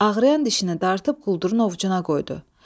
Ağrıyan dişini dartıb quldurun ovucuna qoydu.